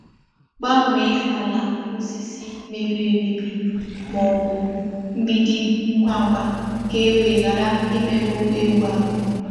Gbanwee ala osisi mebiri emebi ma ọ bụ mgbidi ngwa ngwa ka e wee ghara imerụ ụkwụ ewu ahụ.